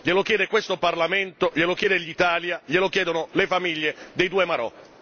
Glielo chiede questo Parlamento, glielo chiede l'Italia, glielo chiedono le famiglie dei due marò.